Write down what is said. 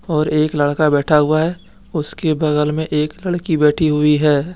और एक लड़का बैठा हुआ है उसके बगल में एक लड़की बैठी हुई है।